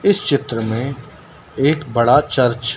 इस चित्र में एक बड़ा चर्च--